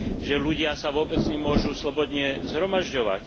Že ľudia sa vôbec nemôžu slobodne zhromažďovať.